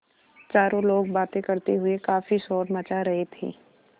चारों लोग बातें करते हुए काफ़ी शोर मचा रहे थे